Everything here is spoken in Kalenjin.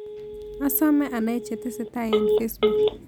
Asomee anai chetesetai eng' facebook